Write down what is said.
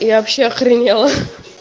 я вообще охренела